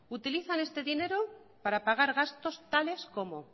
utilizan este dinero para pagar gastos tales como